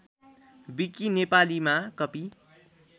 विकी नेपालीमा कपी